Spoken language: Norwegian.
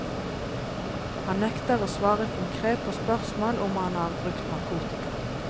Han nekter å svare konkret på spørsmål om han har brukt narkotika.